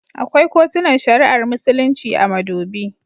Akwai kotunan shari'ar Musulunci a Madobi.